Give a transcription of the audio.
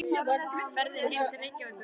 Ferðin heim til Reykjavíkur gekk áfallalaust.